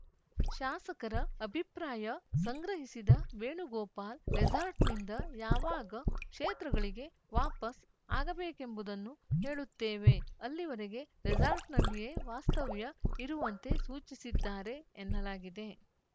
ಶಾಸಕರ ಅಭಿಪ್ರಾಯ ಸಂಗ್ರಹಿಸಿದ ವೇಣುಗೋಪಾಲ್‌ ರೆಸಾರ್ಟ್‌ನಿಂದ ಯಾವಾಗ ಕ್ಷೇತ್ರಗಳಿಗೆ ವಾಪಸ್‌ ಆಗಬೇಕೆಂಬುದನ್ನು ಹೇಳುತ್ತೇವೆ ಅಲ್ಲಿವರೆಗೆ ರೆಸಾರ್ಟ್‌ನಲ್ಲಿಯೇ ವಾಸ್ತವ್ಯ ಇರುವಂತೆ ಸೂಚಿಸಿದ್ದಾರೆ ಎನ್ನಲಾಗಿದೆ